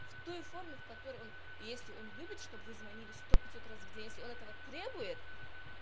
в той форме в которой он если он любит чтобы вы звонили сто пятьсот раз в день если он этого требует